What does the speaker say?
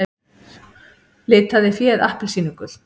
Litaði féð appelsínugult